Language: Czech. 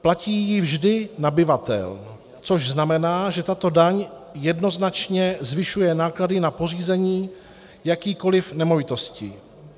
Platí ji vždy nabyvatel, což znamená, že tato daň jednoznačně zvyšuje náklady na pořízení jakékoli nemovitosti.